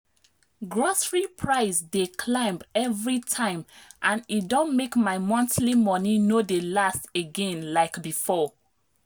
grocery price dey climb every time and e don make my monthly money no dey last again like before.